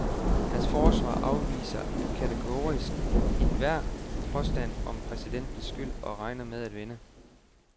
Hans forsvarer afviser kategorisk enhver påstand om præsidentens skyld og regner med at vinde.